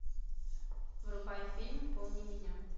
врубай фильм помни меня